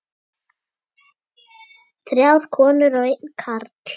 Þrjár konur og einn karl.